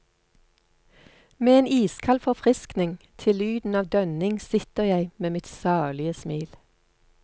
Med en iskald forfriskning til lyden av dønning sitter jeg med mitt salige smil.